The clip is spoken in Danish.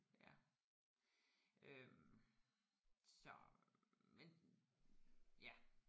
Ja øh så men ja